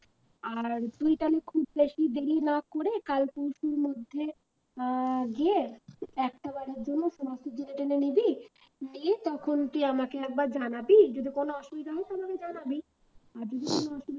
আর তুই তালে খুব বেশি দেরি না করে কাল পরশুর মধ্যে আহ গিয়ে একটা বারের জন্য জেনে নিবি নিয়ে তখন তুই আমাকে একবার জানাবি যদি কোন অসুবিধা হয় তো আমাকে জানাবি আর যদি কোন অসুবিধা